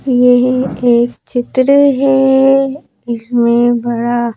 ये एक चित्र है ये इसमें बड़ा--